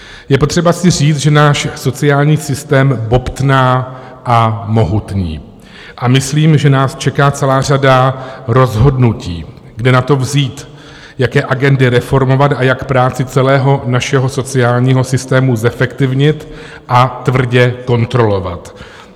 Je potřeba si říct, že náš sociální systém bobtná a mohutní a myslím, že nás čeká celá řada rozhodnutí, kde na to vzít, jaké agendy reformovat a jak práci celého našeho sociálního systému zefektivnit a tvrdě kontrolovat.